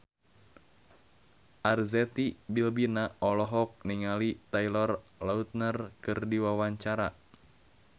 Arzetti Bilbina olohok ningali Taylor Lautner keur diwawancara